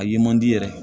A ye man di yɛrɛ